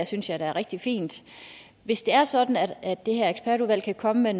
synes jeg da er rigtig fint hvis det er sådan at at det her ekspertudvalg kan komme med